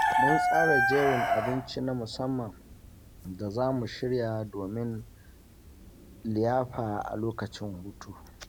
Mun tsara jerin abinci na musamman da za mu shirya domin liyafa a lokacin hutu.